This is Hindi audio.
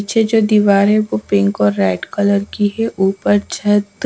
नीचे जो दीवार है वो पिंक और रेड कलर की है ऊपर झट।